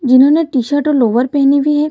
जिन्होंने टी-शर्ट और लोअर पहनी हुई है।